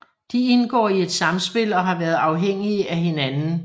De indgår i et samspil og har været afhængige af hinanden